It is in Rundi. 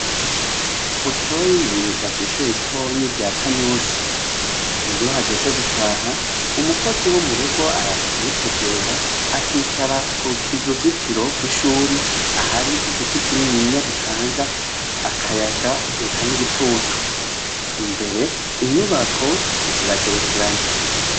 Butoyi yiga kw'ishure ritonyi rya Kanyosha. Iyo hageze gutaha, umukozi wo mu rugo araza kumutegera akicara ku kiruzitiro rw'ishure ahari igiti kinininya gitanga akayaga, eka n'igitutu. Imbere, inyubako ziragerekeranye.